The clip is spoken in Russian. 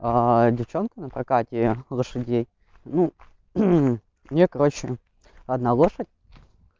девчонка на прокате лошадей ну у неё короче одна лошадь